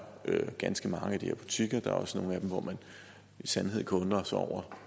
ganske mange af de her butikker og der er også nogle af dem hvor man i sandhed kan undre sig over